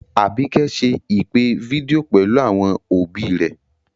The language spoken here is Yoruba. Àbíkẹ́ ṣe ìpè fídíò pẹ̀lú àwọn òbí rẹ̀